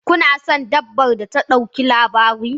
Kuna son dabbar ta ɗauki labari?